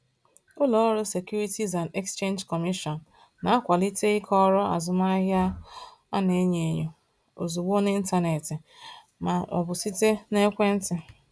Ụlọ ọrụ Securities and Exchange Commission na-akwalite ịkọrọ azụmahịa a na-enyo enyo ozugbo n’ịntanetị ma ọ bụ site n’ekwentị.